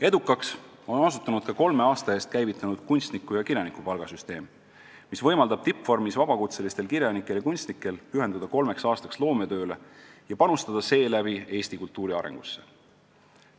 Edukaks on osutunud ka kolme aasta eest käivitunud kunstniku- ja kirjanikupalga süsteem, mis võimaldab tippvormis vabakutselistel kirjanikel ja kunstnikel pühenduda kolmeks aastaks loometööle ja panustada seeläbi Eesti kultuuri arengusse.